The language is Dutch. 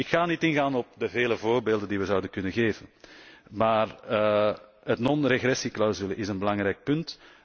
Ik ga niet ingaan op de vele voorbeelden die we zouden kunnen geven, maar de non regressieclausule is een belangrijk punt.